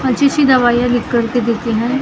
अच्छी सी दवाइयाँ लिखकर देती है और जो --